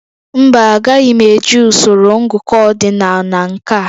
Mba, agaghị m eji usoro ngụkọ ordinal na nke a